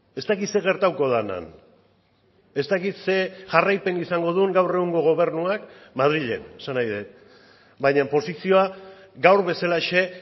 ez dakit zer gertatuko den han ez dakit ze jarraipen izango duen gaur egungo gobernuak madrilen esan nahi dut baina posizioa gaur bezalaxe